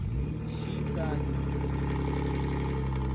читаю